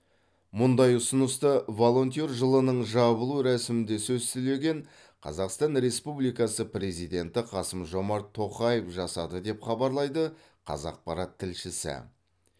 мұндай ұсынысты волонтер жылының жабылу рәсімінде сөз сөйлеген қазақстан республикасы президенті қасым жомарт тоқаев жасады деп хабарлайды қазақпарат тілшісі